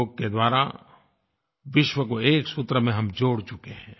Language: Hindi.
योग के द्वारा विश्व को एक सूत्र में हम जोड़ चुके हैं